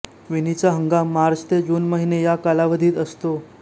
विणीचा हंगाम मार्च ते जून महिने या कालावधीत असतो